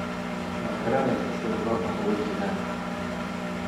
Ma garanaysaa sida loo dhaqo wajigaaga?